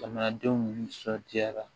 Jamanadenw nisɔndiyara